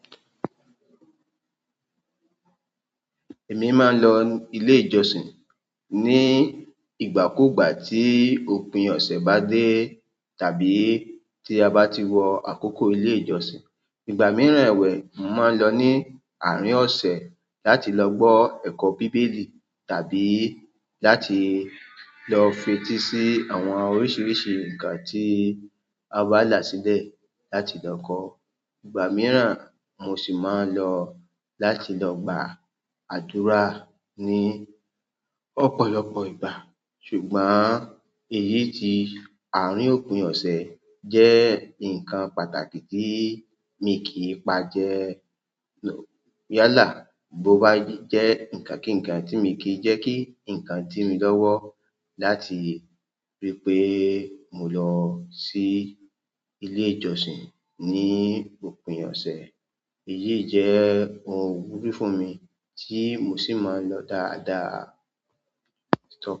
Èmi máa ń lọ ilé ìjọsìn ní ìgbà kú ìgbà tí òpin ọ̀sẹ̀ bá dé tàbí tí a bá ti wọ àkókò ilé ìjọsìn. Ìgbà mìíràn ẹ̀wẹ̀, mò máa ń lọ ní àárín ọ̀sẹ̀ láti lọ gbọ́ ẹ̀kọ́ Bíbélì tàbí láti lọ fetí sí àwọn oríṣiríṣi nǹkan tí a bá là sílẹ̀ láti lọ kọ́. Ìgbà mìíràn, mo sì máa ń lọ láti lọ gba àdúrà ní ọ̀pọ̀lọpọ̀ ìgbà. Ṣùgbọ́n èyí ti àárín òpin ọ̀sẹ̀ jẹ́ nǹkan pàtàkì tí mi kì í pa jẹ no. Yálà bó bá jẹ́ nǹkan kí-ǹkan tí mi kì í jẹ́ kí nǹkan dí mi lọ́wọ́ láti rí pé mo lọ sí ilé ìjọsìn ní òpin ọ̀sẹ̀. Eléyìí jẹ́ ohun ìwúrí fún mi tí mo sí ì ma ń lọ dáadáa.